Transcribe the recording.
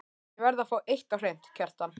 Ég verð að fá eitt á hreint, Kjartan.